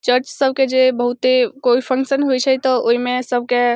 चर्च सबके जे बहुते कोई फंक्शन होइ छे त ओय में सब के --